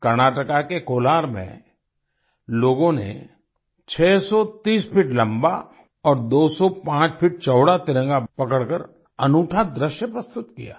कर्नाटका के कोलार में लोगों ने 630 फीट लम्बा और 205 फीट चौड़ा तिरंगा पकड़कर अनूठा दृश्य प्रस्तुत किया